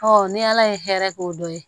ni ala ye hɛrɛ k'o dɔ ye